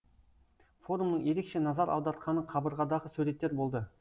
форумның ерекше назар аудартқаны қабырғадағы суреттер болды